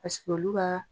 Paseke olu b'a